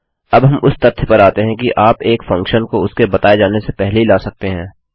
अब हम उस तथ्य पर आते हैं कि आप एक फंक्शन को उसके बताये जाने से पहले ही ला सकते हैं